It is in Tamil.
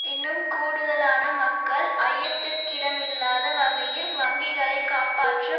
இன்னும் கூடுதலான மக்கள் ஐயத்திற்கிடமில்லாத வகையில் வங்கிகளை காப்பாற்ற